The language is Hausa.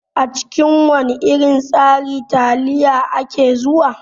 A cikin wana irin tsari taliya ake zuwa.